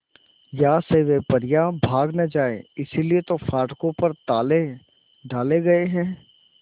यहां से वे परियां भाग न जाएं इसलिए तो फाटकों पर ताले डाले गए हैं